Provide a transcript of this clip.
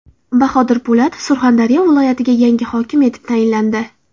Bahodir Po‘latov Surxondaryo viloyatiga yangi hokim etib tayinlandi.